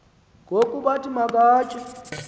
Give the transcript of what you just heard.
ngoku bathi makaycke